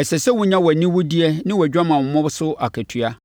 ɛsɛ sɛ wonya wʼaniwudeɛ ne wʼadwamammɔ so akatua.”